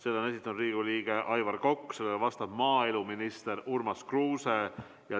Selle on esitanud Riigikogu liige Aivar Kokk, vastab maaeluminister Urmas Kruuse.